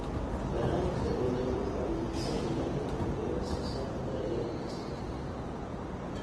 Barnaamijka dawladdu waxa uu higsanayaa in la kordhiyo wax soo saarka dalagyada cuntada.